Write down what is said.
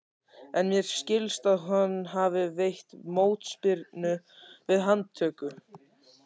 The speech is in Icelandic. En mér skilst að hann hafi veitt mótspyrnu við handtöku.